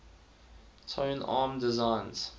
tone arm designs